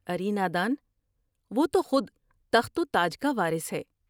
اری نادان ، وہ تو خودتخت و تاج کا وارث ہے ۔